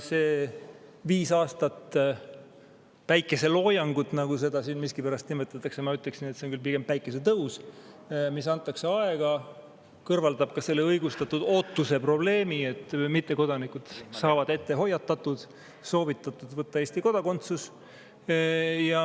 See viis aastat päikeseloojangut, nagu seda siin miskipärast nimetatakse – ma ütleksin, et see on küll pigem päikesetõus –, nii pikalt antakse aega, kõrvaldab ka selle õigustatud ootuse probleemi, sest mittekodanikud saavad ette hoiatatud, nad saavad soovituse võtta Eesti kodakondsus.